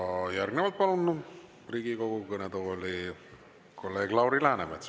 Ja järgnevalt palun Riigikogu kõnetooli kolleeg Lauri Läänemets.